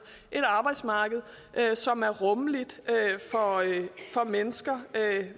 et arbejdsmarked som er rummeligt for mennesker